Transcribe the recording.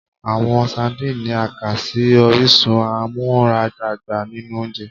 Awọn Sardines ni a kà si orisun amuaradagba ninu ounjẹ